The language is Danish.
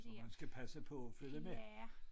Så man skal passe på og følge med